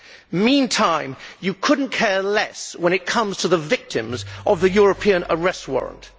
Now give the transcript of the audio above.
In the meantime, you could not care less when it comes to the victims of the European Arrest Warrant.